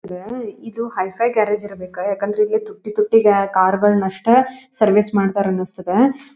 ಇದಾ ಇದು hi fi garage ಇರಬೇಕು ಯಾಕಂದ್ರೆ ಇಲ್ಲಿ ತುಟ್ಟಿ ತುಟ್ಟಿ ಕಾರು ಗಳನ್ನಷ್ಟೇ ಸರ್ವಿಸ್ ಮಾಡ್ತಾರೆ ಅನಿಸ್ತದೆ --